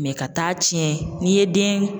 ka taa tiɲɛ n'i ye den